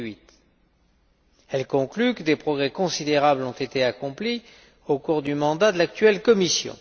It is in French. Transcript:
2008. Elle conclut que des progrès considérables ont été accomplis au cours du mandat de l'actuelle Commission.